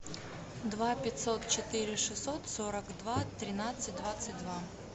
два пятьсот четыре шестьсот сорок два тринадцать двадцать два